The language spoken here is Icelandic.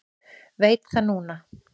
Veit það núna.